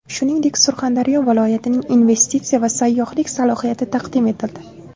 Shuningdek, Surxondaryo viloyatining investitsiya va sayyohlik salohiyati taqdim etildi.